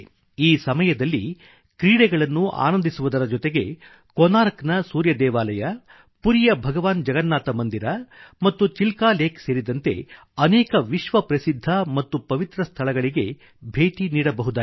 ಈ ಸಮಯದಲ್ಲಿ ಕ್ರೀಡೆಗಳನ್ನು ಆನಂದಿಸುವುದರ ಜೊತೆಗೆ ಕೊನಾರ್ಕ್ ನ ಸೂರ್ಯ ದೇವಾಲಯ ಪುರಿಯ ಭಗವಾನ್ ಜಗನ್ನಾಥ ಮಂದಿರ ಮತ್ತು ಚಿಲ್ಕಾ ಲೇಕ್ ಸೇರಿದಂತೆ ಅನೇಕ ವಿಶ್ವ ಪ್ರಸಿದ್ಧ ಮತ್ತು ಪವಿತ್ರ ಸ್ಥಳಗಳಿಗೆ ಭೇಟಿ ನೀಡಬಹುದಾಗಿದೆ